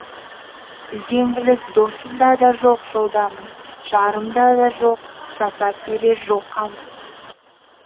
үзеңгіліс досымда да жоқ жолдамын жарым да жоқ жасап берер жол қамын